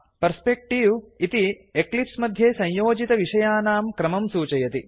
perspective दृष्टिकोणः इति Eclipse मध्ये संयोजितविषयानां क्रमं सूचयति